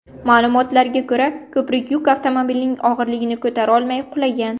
Ma’lumotlarga ko‘ra, ko‘prik yuk avtomobilining og‘irligini ko‘tarolmay qulagan.